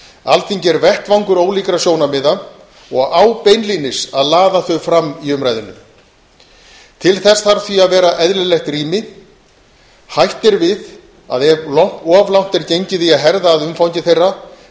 alþingi er vettvangur ólíkra sjónarmiða og á beinlínis að laða þau fram í umræðunni til þess þarf því að vera eðlilegt rými hætt er við að ef of langt er gengið í að herða að umfangi þeirra